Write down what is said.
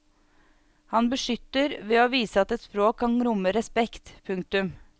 Han beskytter ved å vise at et språk kan romme respekt. punktum